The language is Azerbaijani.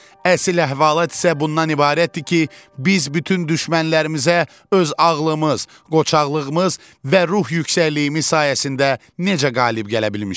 Əsl əhvalat isə bundan ibarətdir ki, biz bütün düşmənlərimizə öz ağlımız, qoçaqlığımız və ruh yüksəkliyimiz sayəsində necə qalib gələ bilmişik.